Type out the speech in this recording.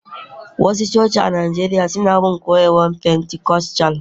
wasu coci a Najeriya suna bin koyarwar pentikostal